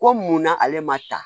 Ko munna ale ma ta